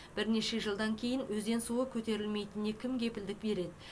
бірнеше жылдан кейін өзен суы көтерілмейтініне кім кепілдік береді